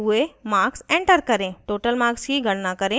* total marks की गणना करें